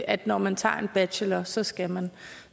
at når man tager en bachelor så skal man